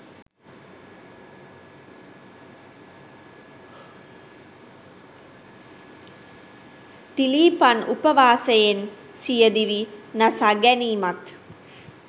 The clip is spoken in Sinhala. තිලීපන් උපවාසයෙන් සිය දිවි නසා ගැනීමත්